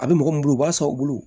A bɛ mɔgɔ min bolo u b'a san u bolo